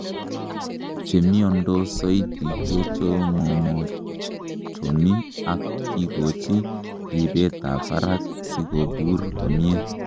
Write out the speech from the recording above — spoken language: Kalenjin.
Chemiondos soiti kechomomochomi ak kikochi ripetab barak sikobur komie.